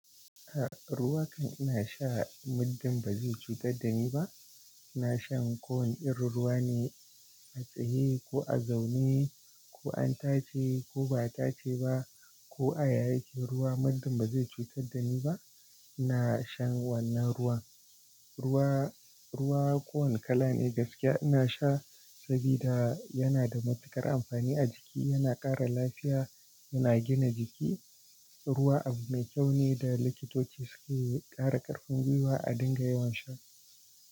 Ruwa kam ina sha, muddun ba zai cutar da ni ba. Na shan kowane irin ruwa ne, a tsaye ko a zaune, ko an tace ko ba a tace ba, ko a yayake ruwa muddun ba zai cutar da ni ba. Na shan wannan ruwan. Ruwa, ruwa kowane kala ne gaskiya ina sha sabida yana da matukar amfani a jiki, yana ƙara lafiya, yana gina jiki. Ruwa abu mai kyau ne da likitoci suke ƙara ƙarfin gwiwa a dinga yawan sha.